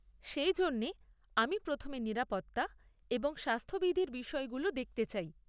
সেই জন্যে আমি প্রথমে নিরাপত্তা এবং স্বাস্থ্যবিধির বিষয়গুলো দেখতে চাই।